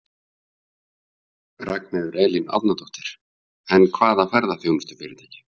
Ragnheiður Elín Árnadóttir: En hvaða ferðaþjónustufyrirtæki?